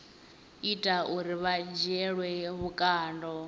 ita uri vha dzhielwe vhukando